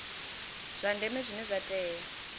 zwa ndeme zwine zwa tea